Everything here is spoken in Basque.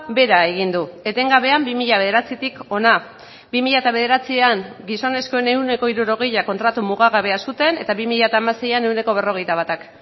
behera egin du etengabean bi mila bederatzitik hona bi mila bederatzian gizonezkoen ehuneko hirurogeia kontratu mugagabea zuten eta bi mila hamaseian ehuneko berrogeita batak